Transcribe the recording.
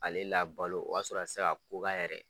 Ale la balo o y'a sɔrɔ a te se a ko k'a yɛrɛ ye.